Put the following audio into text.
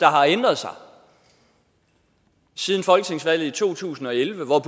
har ændret sig siden folketingsvalget i to tusind og elleve hvor